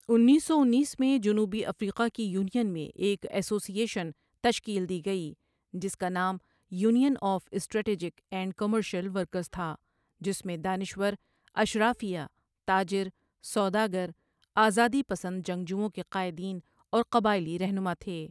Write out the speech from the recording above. انیس سو انیس میں جنوبی افریقہ کی یونین میں ایک ایسوسی ایشن تشکیل دی گئی جس کا نام union of strategic and commercial workers تھا جس میں دانشور ، اشرافیہ ، تاجر ، سوداگر ، آزادی پسند جنگجوؤں کے قائدین اور قبائلی رہنما تھے